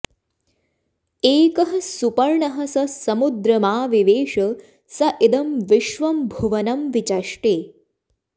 एकः सुपर्णः स समुद्रमा विवेश स इदं विश्वं भुवनं वि चष्टे